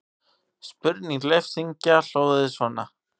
Spurning Leifs Inga hljóðaði svona: